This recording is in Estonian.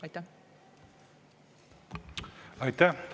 Aitäh!